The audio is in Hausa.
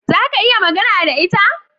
Za ka iya magana da ita?